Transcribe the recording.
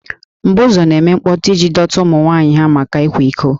M̀bụ̀zú na-eme mkpọtụ iji dọta ụmụ nwanyị ha maka ịkwa iko